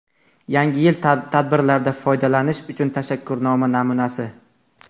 Yangi yil tadbirlarida foydalanish uchun tashakkurnoma namunasi.